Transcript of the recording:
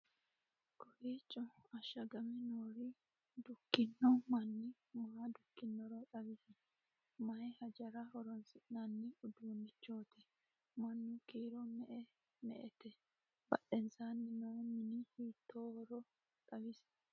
kowiicho ashshagame noore dukkino manni maa dukkinoro xawisi? maye hajara horonsi'nanni uduunnichooti? mannu kiiro me"ete badhensaanni noo mini hiittoohoro xawisi?